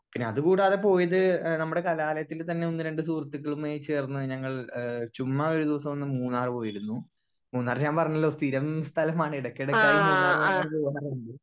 Speaker 1 പിന്നെ അത് കൂടാതെ പോയത് നമ്മടെ കലലായത്തിൽ തന്നെ ഒന്ന് രണ്ട് സുഹൃത്തുക്കളുമായി ചേർന്ന് ഞങ്ങൾ ഏഹ് ചുമ്മാ ഒരുദിവസം ഒന്ന് മൂന്നാർ പോയിരുന്നു മൂന്നാർ ഞാൻ പറഞ്ഞല്ലോ സ്ഥിരം സ്ഥലമാണ് എടക്ക് എടക്കായി മൂന്നാർ മൂന്നാർ പോവല്ണ്ട്.